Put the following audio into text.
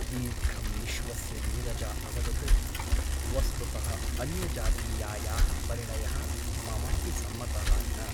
दीर्घं निःश्वस्य नीरजा अवदत् वस्तुतः अन्यजातीयायाः परिणयः ममापि सम्मतः न ।